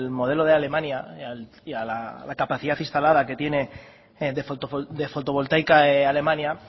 modelo de alemania y a la capacidad instalada que tiene de fotovoltaica alemania